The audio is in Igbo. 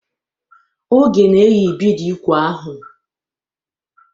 Oge na-eyi bidi úkwù ahụ.